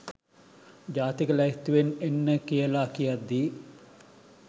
ජාතික ලැයිස්තුවෙන් එන්න කියලා කියද්දි